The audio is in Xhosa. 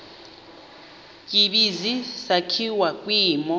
tsibizi sakhiwa kwimo